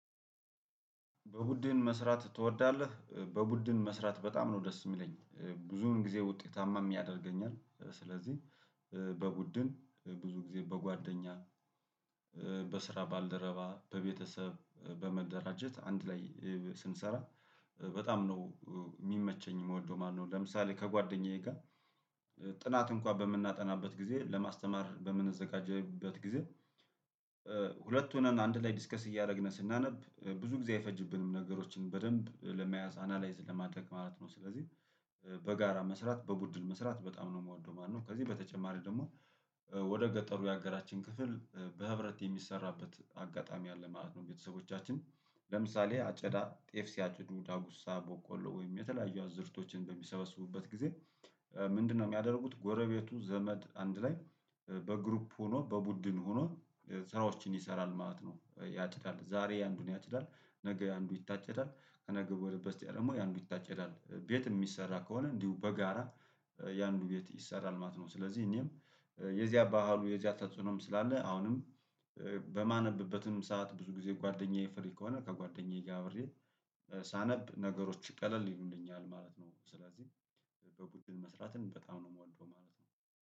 በቡድን መስራት ትወዳለህ? በቡድን መስራት በጣም ነው ደስ የሚለኝ ብዙውን ጊዜ ውጤታማም ያደርገኛል ስለዚህ በቡድን ብዙ ጊዜ በጓደኛ በስራ ባልደረባ በቤተሰብ በመደራጀት አንድ ላይ ስንሰራ በጣም ነው የሚመቸኝ የምወደው ማለትነው። ለምሳሌ ከጓደኛዬ ጋር ጥናት እንኳን በምናጠናበት ጊዜ ለማስተማር በምንዘጋጅበት ጊዜ ሁለት ሆነን አንድ ላይ ዲስከስ እያደረግን ስናነብ ብዙ ጊዜ አይፈጅብንም ነገሮችን በደንብ ለመያዝ አናላይዝ ለማድረግ ማለት ነው። ስለዚህ በጋራ መስራት በቡድን መስራት በጣም ነው የምወደው ማለት ነው። ከዚህ በተጨማሪ ደግሞ ወደ ገጠሩ የሀገራችን ክፍል በህብረት የሚሰራበት አጋጣሚ አለ ማለት ነው። ቤተሰቦቻችን ለምሳሌ አጨዳ ጤፍ ሲያጭዱ ዳጉሳ ቦቆሎ ወይም የተለያዩ አዝእርቶችን በሚሰበስቡበት ጊዜ። ምንድነው የሚያደርጉት ጎረቤቱ ዘመድ አንድ ላይ በግሩፕ ሆኖ በቡድን ሆኖ ስራዎችን ይሰራል ማለት ነው። ያጭዳል ዛሬ የአንዱን ያጭዳል ነገ የአንዱ ይታጨዳል ከነገ ወደበስቲያ ደግሞ የአንዱ ይታጨዳል ቤት የሚሰራ ከሆነ እንዲሁ በጋራ የአንዱ ቤት ይሰራል ማለት ነው። ስለዚህ እኔም የዚያ ባህሉ የዚያ ተጽዕኖም ስላለ አሁንም በማነብበትም ሰዓት ብዙ ጊዜ ጓደኛዬ ፍሪ ከሆነ ከጓደኛዬ ጋር አብሬ ሳነብ ነገሮች ቀለል ይሉልኛል ማለት ነው። ስለዚህ በቡድን መስራትን በጣም ነው የምወደው ማለት ነው